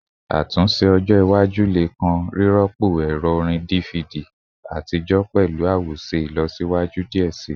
Atunse ojo iwaju le kan rirọpo ẹrọ orin DVD atijọ pẹlu awoṣe ilọsiwaju diẹ sii